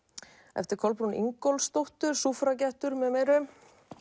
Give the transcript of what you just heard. eftir Kolbrúnu Ingólfsdóttur með meiru